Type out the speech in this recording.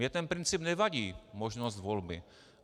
Mně ten princip nevadí, možnost volby.